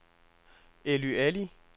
Elly Ali